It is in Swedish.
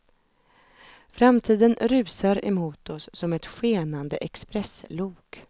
Framtiden rusar emot oss som ett skenande expresslok.